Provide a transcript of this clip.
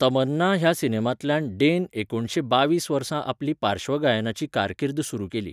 तमन्ना ह्या सिनेमांतल्यान डे न एकुणशे बावीस वर्सा आपली पार्श्वगायनाची कारकीर्द सुरू केली.